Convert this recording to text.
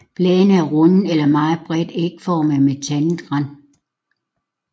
Bladene er runde eller meget bredt ægformede med tandet rand